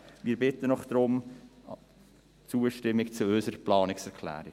Wir bitten Sie um Zustimmung zu unserer Planungserklärung.